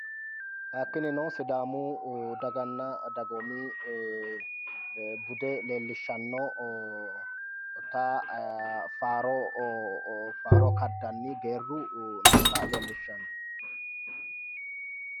Hakinino sidaamu dagana dagoomi bude leelishanota faaro kaddani geeru noota leelishano